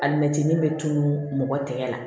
Alimɛtinin bɛ tunun mɔgɔ tɛ la